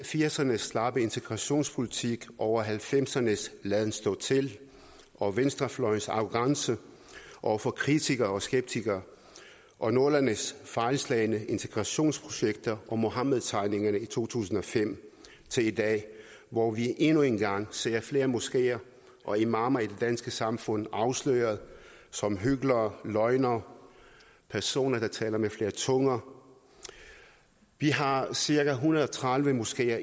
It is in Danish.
firserne s slappe integrationspolitik over nitten halvfemserne s laden stå til og venstrefløjens arrogance over for kritikere og skeptikere og nullerne s fejlslagne integrationsprojekter og muhammedtegningerne i to tusind og fem til i dag hvor vi endnu en gang ser flere moskeer og imamer i det danske samfund afsløret som hyklere løgnere personer der taler med flere tunger vi har cirka en hundrede og tredive moskeer